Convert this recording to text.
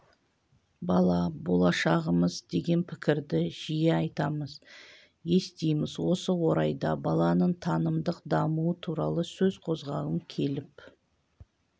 бала болашығымыз деген пікірді жиі айтамыз естиміз осы орайда баланың танымдық дамуы туралы сөз қозғағым келіп